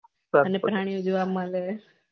અને કહાનિયા ઊજવા મળે